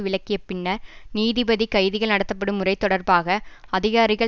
விலக்கிய பின்னர் நீதிபதி கைதிகள் நடத்தப்படும் முறை தொடர்பாக அதிகாரிகள்